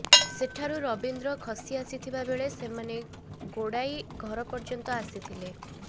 ସେଠାରୁ ରବୀନ୍ଦ୍ର ଖସି ଆସିଥିବା ବେଳେ ସେମାନେ ଗୋଡ଼ାଇ ଘର ପର୍ଯ୍ୟନ୍ତ ଆସିଥିଲେ